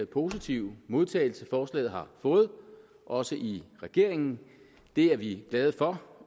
positive modtagelse forslaget har fået også i regeringen det er vi glade for